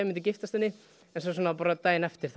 giftast henni svo daginn eftir